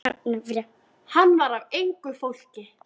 Hann var af engu fólki.